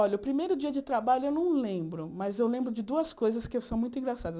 Olha, o primeiro dia de trabalho eu não lembro, mas eu lembro de duas coisas que são muito engraçadas.